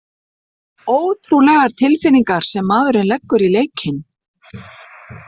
Ótrúlegar tilfinningar sem maðurinn leggur í leikinn!